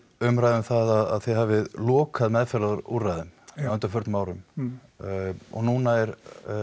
umræða um það að þið hafið lokað meðferðarúrræðum á undanförnum árum og núna er